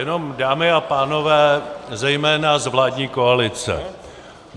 Jenom, dámy a pánové, zejména z vládní koalice.